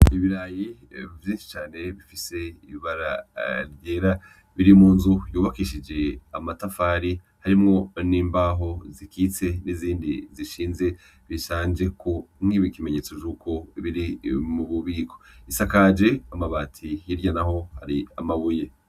Ibirayi vyinshi cane bifise ibara ryera biri mu nzu yubakishije amatafari harimwo n'imbaho zikitse nizindi zishinze bishanje nk'ikimenyetso yuko biri mububiko isakaje amabati hirya naho hari amabuye